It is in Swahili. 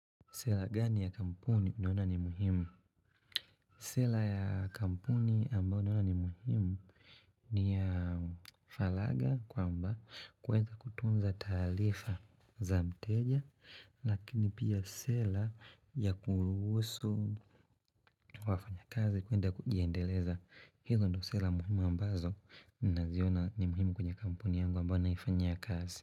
Sera gani ya kampuni unaona ni muhimu? Sera ya kampuni ambayo naona ni muhimu ni ya falaga kwamba kuweza kutunza taarifa za mteja lakini pia sela ya kuruhusu kwa wafanya kazi kuenda kujiendeleza. Hizo ndio sera muhimu ambazo naziona ni muhimu kwenye kampuni yangu ambao naifanyia kazi.